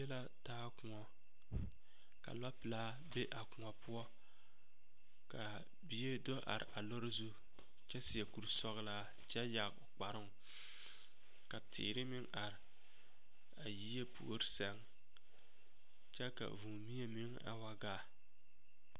Yie la taa koɔ ka lɔɔpelaa be a koɔ poɔ ka bie do are a lɔre zu kyɛ seɛ kurisɔglaa kyɛ yage o kparoŋ ka teere meŋ are a yie puori seŋ kyɛ ka vūūmie meŋ a wa gaa.